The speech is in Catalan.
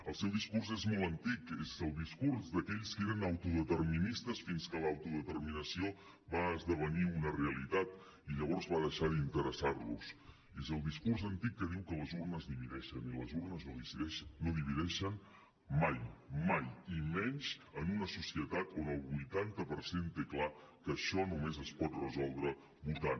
el seu discurs és molt antic és el discurs d’aquells que eren autodeterministes fins que l’autodeterminació va esdevenir una realitat i llavors va deixar d’interessar los és el discurs antic que diu que les urnes divideixen i les urnes no divideixen mai mai i menys en una societat on el vuitanta per cent té clar que això només es pot resoldre votant